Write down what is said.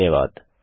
धन्यवाद